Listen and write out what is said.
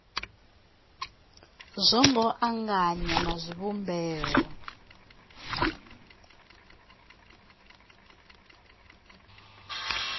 zwo ngo anganywa na zwivhumbeo